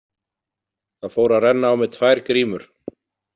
Það fóru að renna á mig tvær grímur.